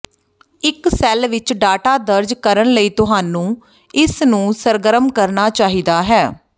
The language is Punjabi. ਇੱਕ ਸੈੱਲ ਵਿੱਚ ਡਾਟਾ ਦਰਜ ਕਰਨ ਲਈ ਤੁਹਾਨੂੰ ਇਸ ਨੂੰ ਸਰਗਰਮ ਕਰਨ ਚਾਹੀਦਾ ਹੈ